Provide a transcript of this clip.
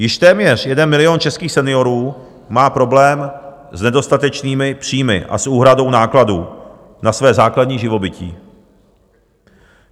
Již téměř jeden milion českých seniorů má problém s nedostatečnými příjmy a s úhradou nákladů na své základní živobytí.